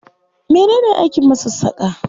Mene ne aikin masassaƙa?